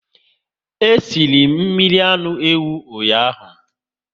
E sịrị mmiri anụ ewu ụnyaahụ